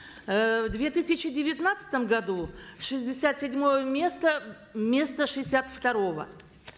э в две тысячи девятнадцатом году шестьдесят седьмое место вместо шестьдесят второго